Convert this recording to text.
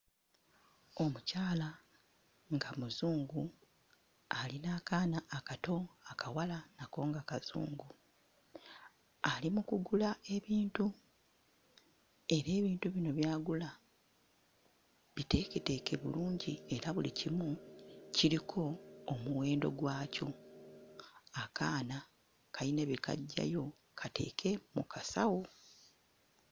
Omukyala nga Muzungu ali n'akaana akato akawala nako nga Kazungu ali mu kugula ebintu era ebintu bino by'agula biteeketeeke bulungi era buli kimu kiriko omuwendo gwakyo. Akaana kalina bye kaggyayo kateeke mu kasawo.